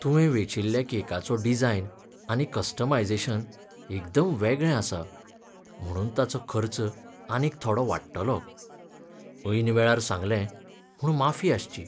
तुवें वेंचिल्ल्या केकाचो डिजायन आनी कस्टमायजेशन एकदम वेगळे आसा, म्हणून ताचो खर्च आनीक थोडो वाडटलो. ऐन वेळार सांगलें म्हूण माफी आसची.